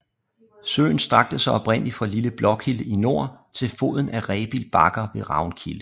Søen strakte sig oprindelig fra Lille Blåkilde i nord til foden af Rebild Bakker ved Ravnkilde